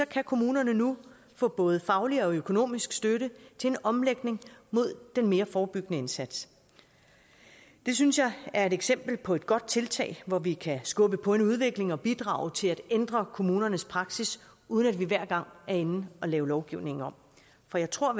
kan kommunerne nu få både faglig og økonomisk støtte til en omlægning mod den mere forebyggende indsats det synes jeg er et eksempel på et godt tiltag hvor vi kan skubbe på en udvikling og bidrage til at ændre kommunernes praksis uden at vi hver gang er inde og lave lovgivningen om for jeg tror